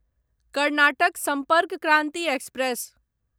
Karnataka Sampark Kranti express